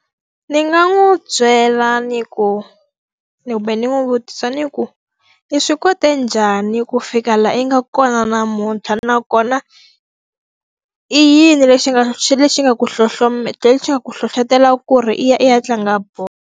Ni nga n'wi byela ni ku kumbe ni n'wi vutisa ni ku, i swi kote njhani ku fika laha yi nga kona namuntlha nakona i yini lexi nga lexi xi nga ku lexi nga ku hlohletela ku ri i ya i ya tlanga bolo?